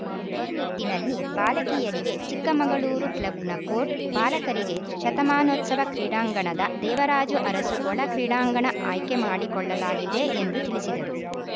ಈ ನಿಟ್ಟಿನಲ್ಲಿ ಬಾಲಕಿಯರಿಗೆ ಚಿಕ್ಕಮಗಳೂರು ಕ್ಲಬ್‌ನ ಕೋರ್ಟ್‌ ಬಾಲಕರಿಗೆ ಶತಮಾನೋತ್ಸವ ಕ್ರೀಡಾಂಗಣದ ದೇವರಾಜು ಅರಸು ಒಳ ಕ್ರೀಡಾಂಗಣ ಆಯ್ಕೆ ಮಾಡಿಕೊಳ್ಳಲಾಗಿದೆ ಎಂದು ತಿಳಿಸಿದರು